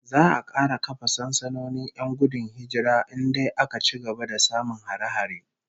Za'a kara kafa sansanonin 'yan gudun hijira in dai aka ci gaba da samun hare-hare